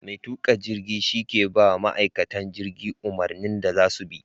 Mai tuka jirgi shi ne ke ba ma ma'aikatan jirgi umarnin da za su bi.